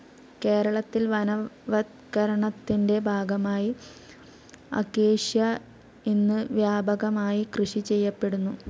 കേരളത്തിൽ വനവത്കരണത്തിന്റെ ഭാഗമായി അക്കാസിയ ഇന്ന് വ്യാപകമായി കൃഷി ചെയ്യപ്പെടുന്നു.